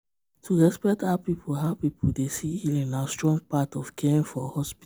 to respect how people how people dey see healing na strong part of caring for hospital.